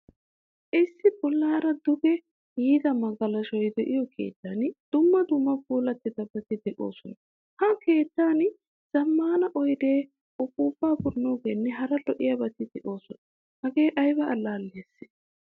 Issi bollaara duge yiida magalashoy deiyo keettan dumma dumma puulabati deosona. Ha keettan zammaana oyde, uppupa pugogenne hara lo'iyabati deosona. Hagee ayba allaliyase?